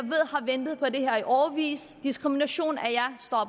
har ventet på det her i årevis diskriminationen